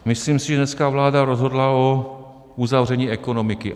Myslím si, že dneska vláda rozhodla o uzavření ekonomiky.